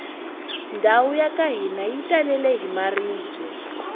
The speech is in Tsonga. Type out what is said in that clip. ndhawu yaka hina yi talele hi maribye